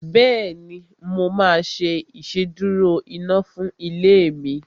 Bẹ́ẹ̀ni, mo máa ṣe ìsedúró iná fún ilé mi